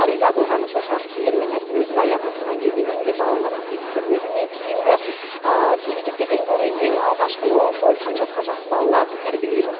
риза болғаным соншалық кейін мен айттым өзім аяғыма тұрған кезде мен де балаларға көмектесем өзімнен кейінгі ересектерден гөрі ең алғашқы оң солын танып жатқан жас балаларды тәрбиелеймін